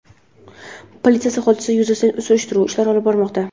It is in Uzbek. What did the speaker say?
Politsiya hodisa yuzasidan surishtiruv ishlarini olib bormoqda.